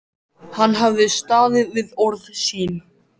Hann hafði staðið við orð sín.